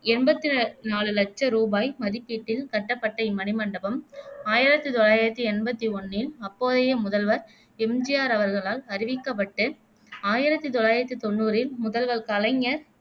எம்பத்தி நாலு லட்ச ரூபாய் மதிப்பீட்டில் கட்டப்பட்ட இம்மணிமண்டபம் ஆயிரத்தி தொள்ளாயிரத்தி எம்பத்தி ஒண்ணில் அப்போதைய முதல்வர் எம். ஜி. ஆர் அவர்களால் அறிவிக்கப்பட்டு ஆயிரத்தி தொள்ளாயிரத்தி தொன்னூரில் முதல்வர் கலைஞர்